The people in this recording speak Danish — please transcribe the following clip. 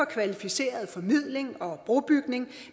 kvalificeret formidling og brobygning